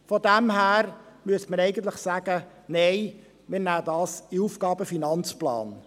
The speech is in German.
Von daher müsste man eigentlich sagen, wir würden dies in den AFP aufnehmen.